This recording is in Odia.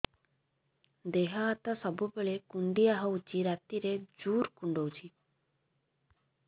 ଦେହ ହାତ ସବୁବେଳେ କୁଣ୍ଡିଆ ହଉଚି ରାତିରେ ଜୁର୍ କୁଣ୍ଡଉଚି